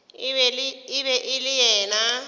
e be e le yena